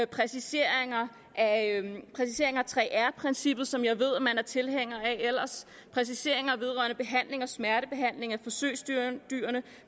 præciseringer af 3r princippet som jeg ved man ellers er tilhænger af præciseringer vedrørende behandling og smertebehandling af forsøgsdyrene